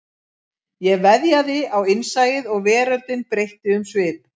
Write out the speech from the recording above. Ég veðjaði á innsæið og veröldin breytti um svip